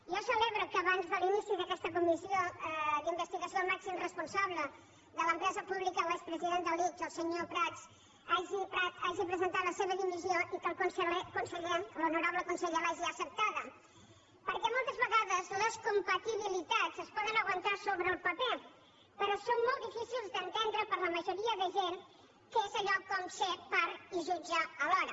jo celebro que abans de l’inici d’aquesta comissió d’investigació el màxim responsable de l’empresa pública l’expresident de l’ics el senyor prat hagi presentat la seva dimissió i que el conseller l’honorable conseller l’hagi acceptada perquè moltes vegades les compatibilitats es poden aguantar sobre el paper però són molt difícils d’entendre per a la majoria de gent que és allò com ser part i jutge alhora